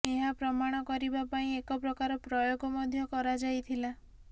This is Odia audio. ଏହା ପ୍ରମାଣ କରିବା ପାଇଁ ଏକ ପ୍ରକାର ପ୍ରୟୋଗ ମଧ୍ୟ କରାଯାଇଥିଲା